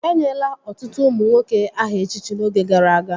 Enyela ọtụtụ ụmụ nwoke aha echichi n'oge gara aga